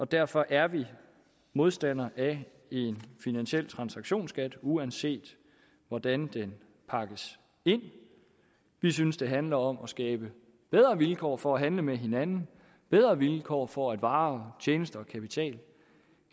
derfor er vi modstandere af en finansiel transaktionsskat uanset hvordan den pakkes ind vi synes det handler om at skabe bedre vilkår for at handle med hinanden bedre vilkår for at varer tjenester og kapital